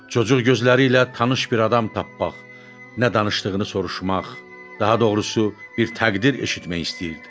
Cocuq gözləri ilə tanış bir adam tapmaq, nə danışdığını soruşmaq, daha doğrusu, bir təqdir eşitmək istəyirdi.